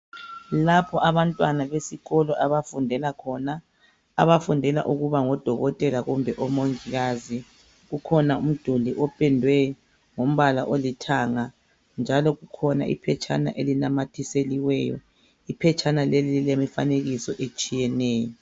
Lapho abantwana besikolo abafundela khona, abafundela ukuba ngodokotela kumbe omongikazi kukhona umduli opendwe ngombala olithanga njalo kukhona iphetshana elinamathiselweyo iphetshana leli lilemifanekiso etshiyeneyo